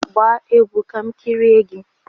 Gbaa egwu ka m kirie gị!